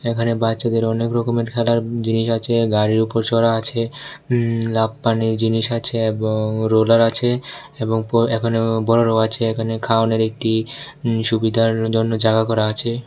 এখানে বাচ্চাদের অনেক রকমের খেলার জিনিস আছে গাড়ির উপর চড়ার আছে হু লাফানর জিনিস আছে এবং রোলার আছে এবং এখানে বড়ো আছে এখানে খাওয়ানোর একটি সুবিধার জন্য জায়গা করা আছে।